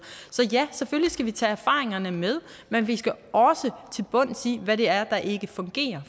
så ja vi selvfølgelig tage erfaringerne med men vi skal også til bunds i hvad det er der ikke fungerer